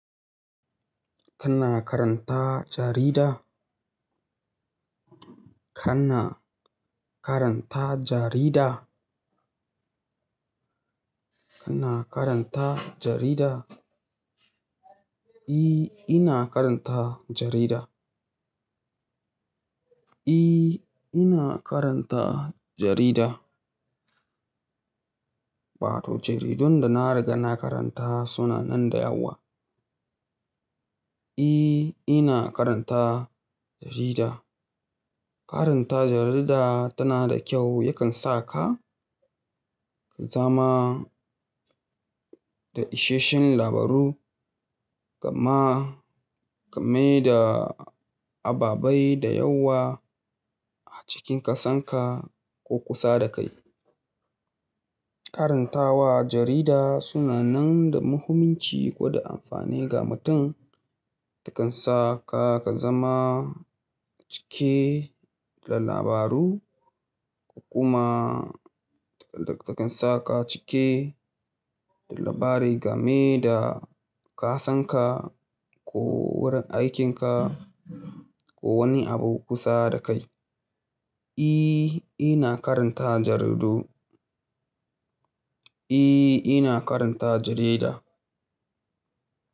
Kana karanta jarida? Kana karanta jarida? Kana karanta jarida? Eh, ina karanta jarida. Eh, ina karanta jarida. Wato jaridun da na riga na karanta suna nan da yawa. Eh, ina karanta jarida. Karanta jarida tana da kyau, yakan sa ka zama da isheshen labaru gama game da ababai da yawa a cikin kasan ka ko kusa da kai. Karantawa jarida suna nan da muhimmanci ko da amfani ga mutum. Takansa ka zama cike da labaru kuma takansa ka cike da labarai game da kasan ka ko wurin aikin ka ko wani abu kusa da kai. Eh, ina karanta jaridu. Eh, ina karanta jarida.